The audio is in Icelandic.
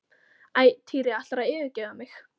Æ, Týri ætlarðu að yfirgefa mig?